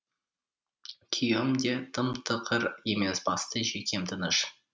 күйеуім де тым тықыр емес бастысы жүйкем тыныш